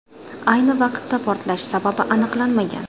Ayni vaqtda portlash sababi aniqlanmagan.